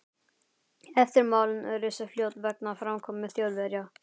Eftirmál risu fljótt vegna framkomu Þjóðverja.